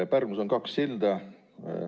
Pärnus on kaks silda.